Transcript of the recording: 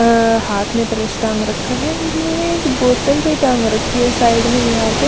अ हाथ में पर्स टंग रखा है बोत्तल भी टंग रखी है साइड पे दिवार पे --